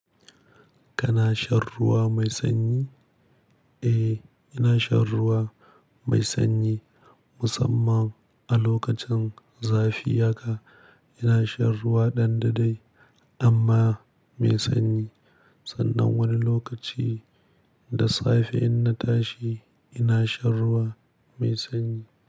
Kana shan ruwa mai sanyi? Eh, ina shan ruwa mai sanyi, musamman a lokacin zafi haka, ina shan ruwa ɗan da-dai amma, mai sanyi, Sannan wani lokaci da safe in na tashi ina shan ruwa mai sanyi.